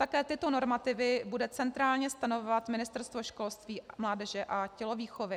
Také tyto normativy bude centrálně stanovovat Ministerstvo školství, mládeže a tělovýchovy.